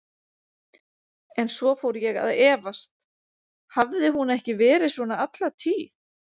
En svo fór ég að efast: hafði hún ekki verið svona alla tíð?